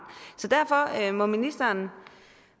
så derfor må ministeren